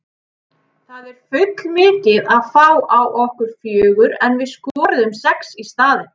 Það er full mikið að fá á okkur fjögur en við skoruðum sex í staðinn.